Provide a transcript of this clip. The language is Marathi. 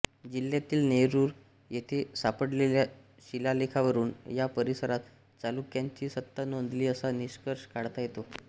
जिल्ह्यातील नेरूर येथे सापडलेल्या शिलालेखावरून या परिसरात चालुक्यांची सत्ता नांदली असा निष्कर्ष काढता येतो